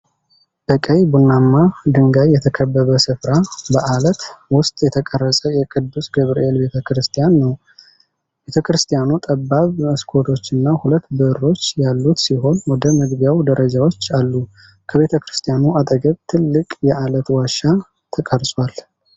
በቀይ ቡናማ ድንጋይ የተከበበ ስፍራ፣ በዓለት ውስጥ የተቀረጸ የቅዱስ ገብርኤል ቤት ቤተክርስቲያን ነው። ቤተክርስቲያኑ ጠባብ መስኮቶችና ሁለት በሮች ያሉት ሲሆን ወደ መግቢያው ደረጃዎች አሉ። ከቤተክርስቲያኑ አጠገብ ትልቅ የዓለት ዋሻ ተቀርጿል።